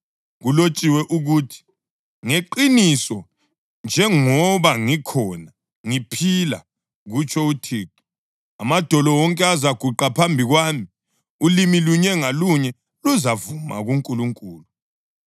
Kulotshiwe ukuthi: “ ‘Ngeqiniso njengoba ngikhona, ngiphila,’ + 14.11 U-Isaya 45.23 kutsho UThixo, ‘amadolo wonke azaguqa phambi kwami; ulimi lunye ngalunye luzavuma kuNkulunkulu.’ ”